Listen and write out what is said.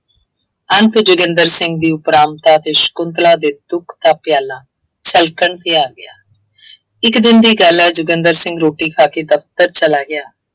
ਅੰਤ ਜੋਗਿੰਦਰ ਸਿੰਘ ਦੀ ਉਪਰਾਮਤਾ ਅਤੇ ਸ਼ੰਕੁਤਲਾ ਦੇ ਦੁੱਖ ਦਾ ਪਿਆਲਾ ਛਲਕਣ ਤੇ ਆ ਗਿਆ ਇੱਕ ਦਿਨ ਦੀ ਗੱਲ ਹੈ। ਜੋਗਿੰਦਰ ਸਿੰਘ ਰੋਟੀ ਖਾ ਕੇ ਦਫਤਰ ਚਲਾ ਗਿਆ।